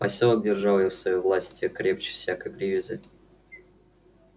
посёлок держал её в своей власти крепче всякой привязи